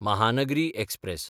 Mahanagari express